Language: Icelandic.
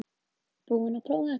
Búinn að prófa þetta